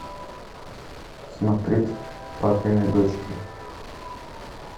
смотреть папины дочки